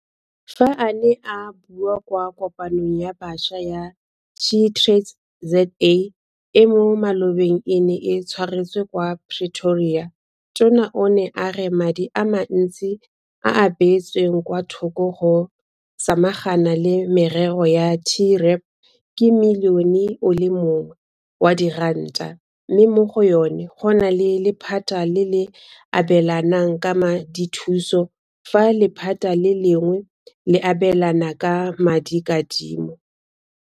Fa a ne a bua kwa Kopanong ya Bašwa ya SheTradesZA e mo malobeng e neng e tshwaretswe kwa Pretoria, Tona o ne a re madi a mantsi a a beetsweng kwa thoko go samagana le merero ya TREP ke Milione o le mongwe wa diranta, mme mo go yona go na le lephata le le abelanang ka madithuso fa lephata le lengwe le abelana ka madikadimo.